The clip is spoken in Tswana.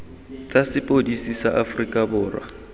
tsa sepodisi sa aforika borwa